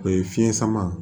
O ye fiɲɛ sama